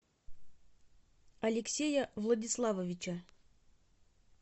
алексея владиславовича